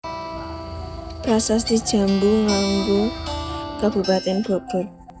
Prasasti Jambu Nanggung Kabupaten Bogor